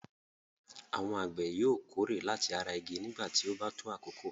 Àwọn àgbẹ̀ yóò kórè láti ara igi nígbà tí ó bá tó àkókò.